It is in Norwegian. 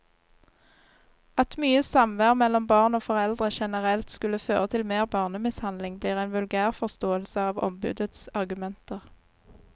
At mye samvær mellom barn og foreldre generelt skulle føre til mer barnemishandling, blir en vulgærforståelse av ombudets argumenter.